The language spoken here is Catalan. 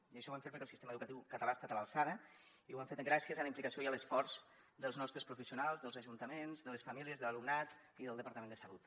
i això ho hem fet perquè el sistema educatiu català ha estat a l’alçada i ho hem fet gràcies a la implicació i a l’esforç dels nostres professionals dels ajuntaments de les famílies de l’alumnat i del departament de salut